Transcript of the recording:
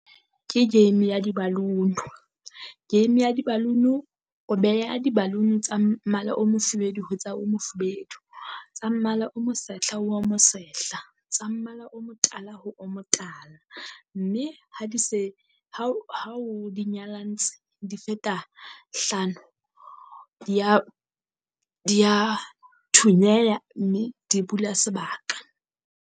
Ke game ya di-balloon-u, game ya di-balloon-u o beha di-balloon tsa mmala o mofubedu ho tsa mmala o mofubedu. Tsa mmala o mo sehla ho mo sehla, tsa mmala o mo tala ho o mo tala. Mme ha di se ha o nyalantse di feta hlano dia dia thunyeya mme di bula sebaka.